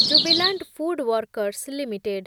Jubilant FoodWorks limited